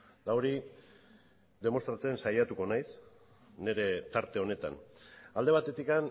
eta hori demostratzen saiatuko naiz nire tarte honetan alde batetik